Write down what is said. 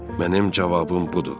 Mənim cavabım budur.